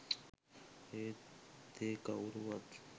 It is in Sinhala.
ඒත් ඒ කව්රුවත්